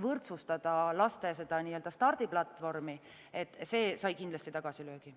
võrdsustada laste stardiplatvormi, sai kindlasti tagasilöögi.